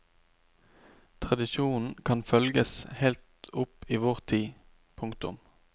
Tradisjonen kan følges helt opp i vår tid. punktum